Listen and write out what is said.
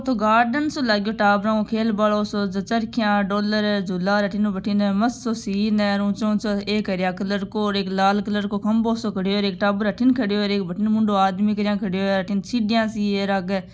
यो तो गार्डन सो लागो टाबर को खेल बालो सो ज चरखिया झूला अठीन ऊ बाथीन मस्त सो सीन हैं और ऊंचा ऊंचा हर कलर को एक लाल कलर को खंभों सो खड़ो हैंएक टावर अठिन खड़ो हैं बाथिन मुंडो आदमी सीडियां सी आग --